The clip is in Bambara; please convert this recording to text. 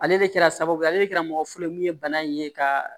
Ale de kɛra sababu ye ale de kɛra mɔgɔ fɔlɔ ye mun ye bana in ye ka